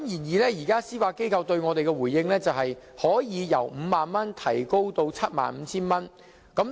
然而，司法機構對我們的回應，是可以由5萬元提高至 75,000 元。